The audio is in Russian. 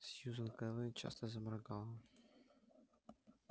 сьюзен кэлвин часто заморгала